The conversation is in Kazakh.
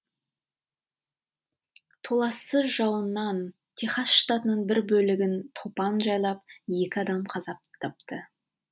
толассыз жауыннан техас штатының бір бөлігін топан жайлап екі адам қаза тапты